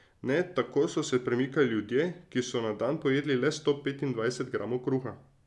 Ne, tako so se premikali ljudje, ki so na dan pojedli le sto petindvajset gramov kruha.